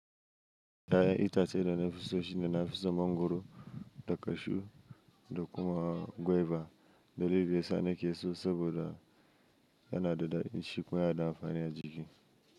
Ya'yan itace dana fiso shine nafiso mangwaro da kashu da kuma gwaiba. Dalilin dayasa nakeso saboda yanada dadi, shi kuma yanada amfani a jiki.